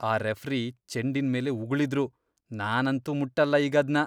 ಆ ರೆಫ್ರಿ ಚೆಂಡಿನ್ಮೇಲೇ ಉಗುಳಿದ್ರು. ನಾನಂತೂ ಮುಟ್ಟಲ್ಲ ಈಗದ್ನ.